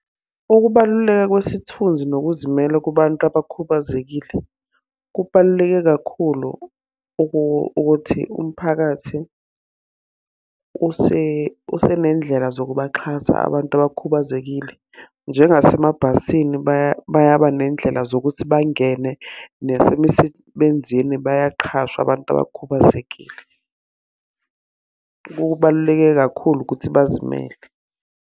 Ukubaluleka kwesithunzi nokuzimela kubantu abakhubazekile. Kubaluleke kakhulu ukuthi umphakathi usenendlela zokubaxhasa abantu abakhubazekile. Njengasemabhasini bayaba ney'ndlela zokuthi bangene. Nasemisebenzini bayaqhashwa abantu abakhubazekile. Kubaluleke kakhulu ukuthi bazimele.